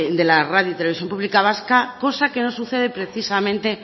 de la radio televisión pública vasca cosa que no sucede precisamente